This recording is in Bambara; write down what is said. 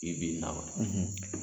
Bi bi in na wa?